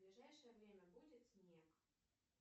в ближайшее время будет снег